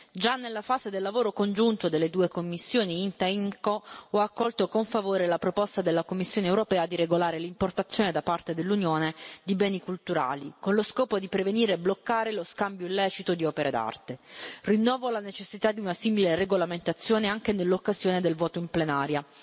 Già nella fase del lavoro congiunto delle due commissioni INTA IMCO ho accolto con favore la proposta della Commissione europea di regolare l'importazione da parte dell'Unione di beni culturali, con lo scopo di prevenire e bloccare lo scambio illecito di opere d'arte. Ribadisco la necessità di una simile regolamentazione anche nell'occasione del voto in plenaria.